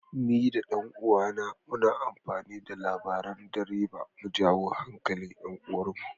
Ni da ɗan uwana muna amfani da labaran dabara mu jawo hankalin 'yar uwarmu.